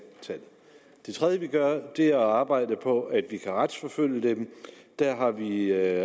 tallene det tredje vi gør er at arbejde på at vi kan retsforfølge dem der har vi